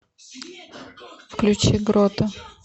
включи грота